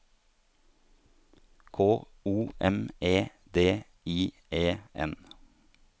K O M E D I E N